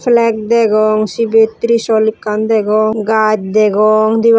flag degong cibet trishul ekkan degong gaj degong debabo.